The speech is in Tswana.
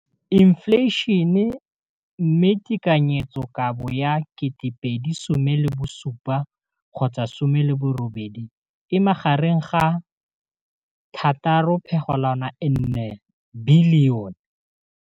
Infleišene, mme tekanyetsokabo ya 2017, 18, e magareng ga R6.4 bilione.